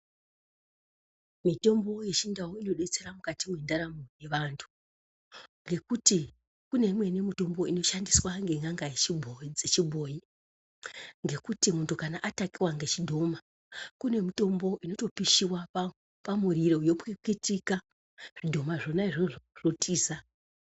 Mitombo yechindau inobetsera mukati mwendaramo dzeantu ngekuti kune imweni mitombo inoshandiswa ngen'anga dzechibhoyi ngekuti kana muntu kana atakiwa ngezvidhoma kune mitombo inoiswa pamoto yopwititika zvidhoma izvonaizvozvo zvototiza.